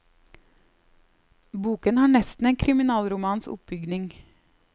Boken har nesten en kriminalromans oppbygning.